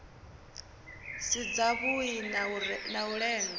si dzavhui na u lenga